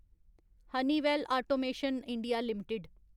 Honeywell automation India limited